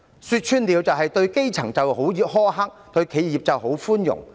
說穿了，就是對基層苛刻，對企業寬容。